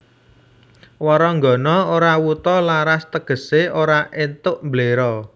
Waranggana ora wuta laras tegesé ora éntuk mbléro